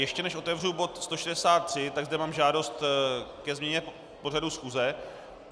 Ještě než otevřu bod 163, tak zde mám žádost ke změně pořadu schůze.